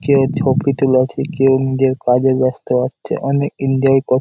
কেউ ছবি তোলা ছে কেউ নিজের কাজে ব্যস্ত আছে অনেক ইনজয় কর--